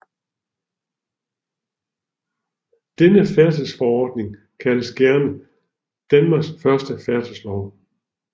Denne færdselsforordning kaldes gerne Danmarks første færdselslov